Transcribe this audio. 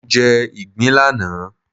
Mo jẹ ìgbín lánàá